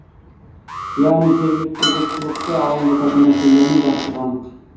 яғни жергілікті жұртшылықты алаңдататын мәселелермен жақсы қанық